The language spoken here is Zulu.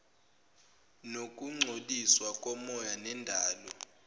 nokungcoliswa komoya nendalo